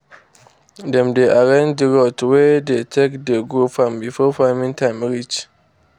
dem dey arrange d roads wey dey take dey go farm before farming time reach.